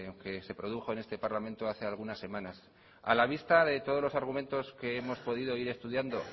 que se produjo en este parlamento hace algunas semanas a la vista de todos los argumentos que hemos podido ir estudiando